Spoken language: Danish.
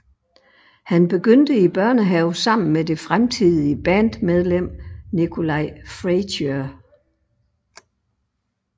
Han begyndte i børnehave sammen med det fremtidige bandmedlem Nikolai Fraiture